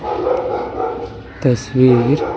तस्वीर --